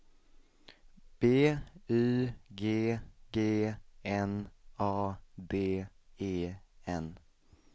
B Y G G N A D E N